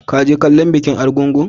Ka je kallon bikin argungu?